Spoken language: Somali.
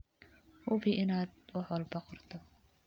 Hubi inaad wax walba qorto.